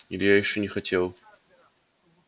илья ещё не хотел